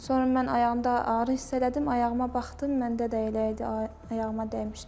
Sonra mən ayağımda ağrı hiss elədim, ayağıma baxdım, məndə də elə idi, ayağıma dəymişdi.